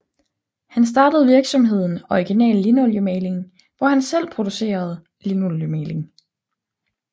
Han startede virksomheden Original Lindoliemaling hvor han selv producerede linoliemaling